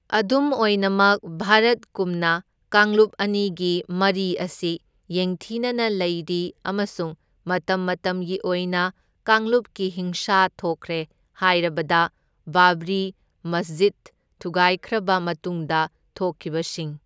ꯑꯗꯨꯝ ꯑꯣꯏꯅꯃꯛ, ꯚꯥꯔꯠꯀꯨꯝꯅ, ꯀꯥꯡꯂꯨꯞ ꯑꯅꯤꯒꯤ ꯃꯔꯤ ꯑꯁꯤ ꯌꯦꯡꯊꯤꯅꯅ ꯂꯩꯔꯤ ꯑꯃꯁꯨꯡ ꯃꯇꯝ ꯃꯇꯝꯒꯤ ꯑꯣꯏꯅ ꯀꯥꯡꯂꯨꯞꯀꯤ ꯍꯤꯡꯁꯥ ꯊꯣꯛꯈ꯭ꯔꯦ ꯍꯥꯢꯔꯕꯗ ꯕꯥꯕ꯭ꯔꯤ ꯃꯁꯖꯤꯗ ꯊꯨꯒꯥꯢꯈ꯭ꯔꯕ ꯃꯇꯨꯡꯗ ꯊꯣꯛꯈꯤꯕꯁꯤꯡ꯫